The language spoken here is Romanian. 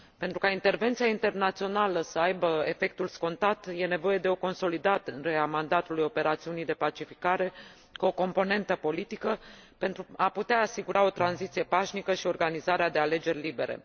Pentru ca intervenția internațională să aibă efectul scontat, e nevoie de o consolidare a mandatului operațiunii de pacificare cu o componentă politică, pentru a putea asigura o tranziție pașnică și organizarea de alegeri libere.